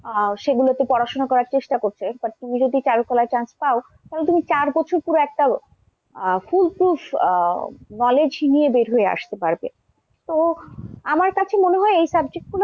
আহ সেগুলোতে পড়াশোনা করার চেষ্টা করছে but তুমি যদি চারুকলায় chance পায় তাহলে তুমি চার বছর পুরো একটা আহ full prove আহ knowledge নিয়ে বের হয়ে আসতে পারবে। তো আমার কাছে মনে হয় এই subject গুলো,